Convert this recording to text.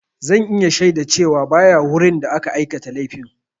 Zan iya shaida cewa ba ya wurin da aka aikata laifin.